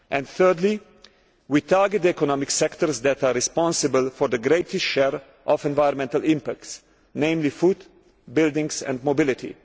Thirdly, we target the economic sectors that are responsible for the greatest share of environmental impacts namely food, buildings and mobility.